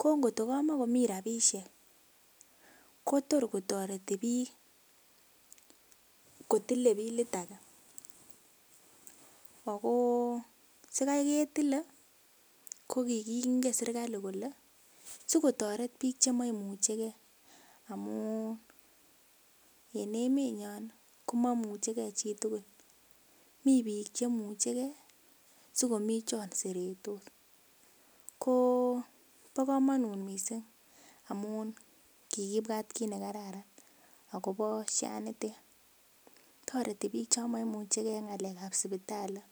ko ngotko kamomii rapisiek ko tor kotoreti biik kotile bilit age ako sikai ketile ko kingen serkali kole sikotoret biik chemoimuchegee amun en emenyon ko momuchegee chitugul mii biik chemuchegee sikomii chon seretos kobo komonut missing amun kikibwat kit nekararan akobo Social Health Authority nitet toreti biik chon momuchegee en ng'alek ab sipitali